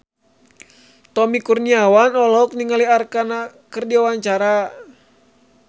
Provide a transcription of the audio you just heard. Tommy Kurniawan olohok ningali Arkarna keur diwawancara